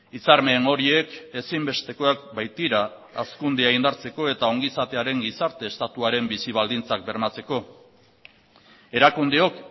hitzarmen horiek ezinbestekoak baitira hazkundea indartzeko eta ongizatearen gizarte estatuaren bizi baldintzak bermatzeko erakundeok